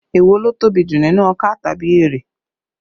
Èwo ló tóbi jù nínú ọkà tàbí erè?